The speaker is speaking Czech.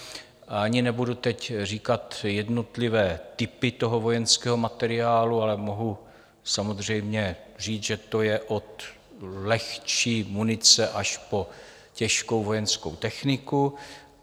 Ani teď nebudu říkat jednotlivé typy toho vojenského materiálu, ale mohu samozřejmě říct, že to je od lehčí munice až po těžkou vojenskou techniku.